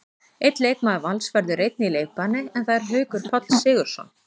Einn leikmaður Vals verður einnig í leikbanni, en það er Haukur Páll Sigurðsson.